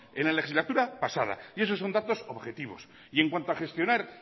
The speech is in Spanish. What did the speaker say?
en la legislatura pasada y esos son datos objetivos y en cuanto a gestionar